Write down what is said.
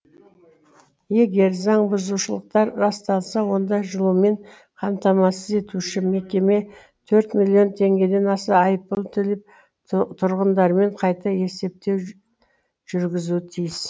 егер заңбұзушылықтар расталса онда жылумен қамтамасыз етуші мекеме төрт миллион теңгеден аса айыппұл төлеп тұрғындармен қайта есептеу жүргізуі тиіс